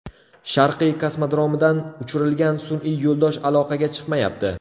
Sharqiy kosmodromidan uchirilgan sun’iy yo‘ldosh aloqaga chiqmayapti.